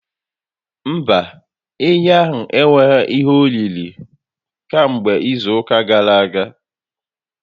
Mba, ehi anyị enweghi ihe oriri kamgbe izu ụka gara aga